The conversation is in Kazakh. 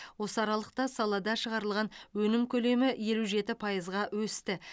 осы аралықта салада шығарылған өнім көлемі елу жеті пайызға өсті